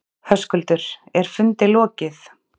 Höskuldur, er fundi lokið?